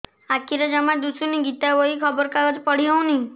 ଆଖିରେ ଜମା ଦୁଶୁନି ଗୀତା ବହି ଖବର କାଗଜ ପଢି ହଉନି